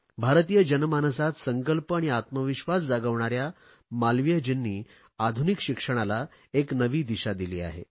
भारतीय जनमानसात संकल्प आणि आत्मविश्वास जागविणाऱ्या मालवीयजींनी आधुनिक शिक्षणाला एक नवी दिशा दिली आहे